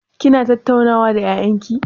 Kina tattaunawa da ƴaƴan ki?